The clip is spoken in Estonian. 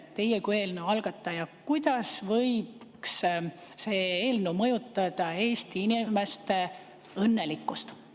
Teie kui eelnõu algataja, kuidas võiks teie arvates see eelnõu mõjutada Eesti inimeste õnnelikkust?